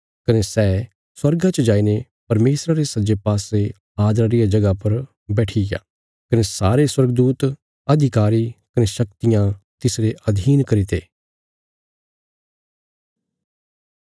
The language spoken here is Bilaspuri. कने सै स्वर्गा च जाईने परमेशरा रे सज्जे पासे आदरा रिया जगह बैठिग्या कने सारे स्वर्गदूत अधिकारी कने शक्तियां तिसरे अधीन करीते